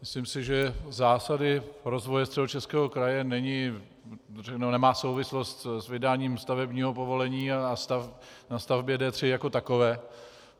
Myslím si, že Zásady rozvoje Středočeského kraje nemají souvislost s vydáním stavebního povolení na stavbě D3 jako takové.